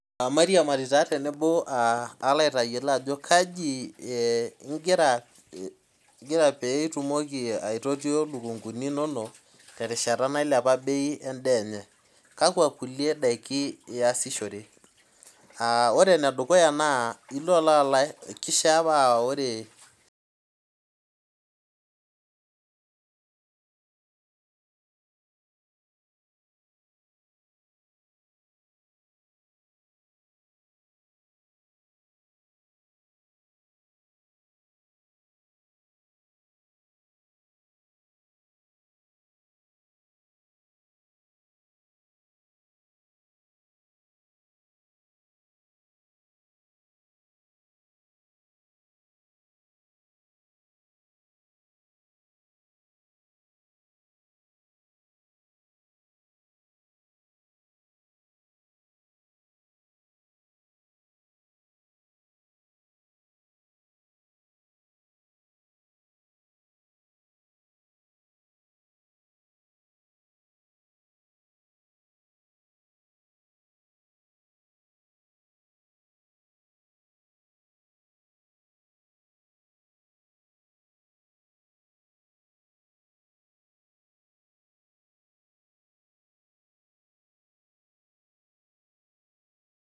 Mairiamari tenebo palo aitaamu ajo kainko peintoti lukunguni inonok terishara ebei enye kakwa kulie dakin iasishore aa orw enedukuya nakishaa paa ore